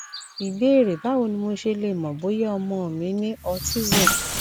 ìbéèrè báwo ni mo ṣe lè mọ bóyá ọmọ mi ní autism